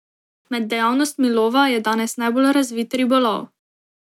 Med dejavnostmi lova je danes najbolj razvit ribolov.